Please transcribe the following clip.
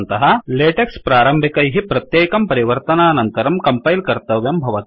LaTeX प्रारम्भिकैः प्रत्येकं परिवर्तनानन्तरं कम्पैल् कर्तयं भवत्येव